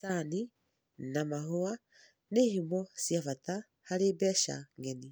Macani na mahũa nĩ ihumo cia bata harĩ mbece ng'eni